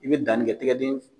I bɛ danni kɛ tigɛ den